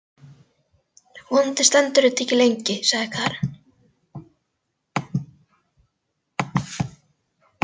Vonandi stendur þetta ekki lengi, sagði Karen.